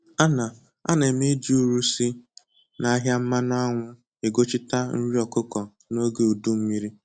Ana Ana m eji uru si n'ahịa mmanụ aṅụ e gochita nri ọkụkọ n'oge udu mmiri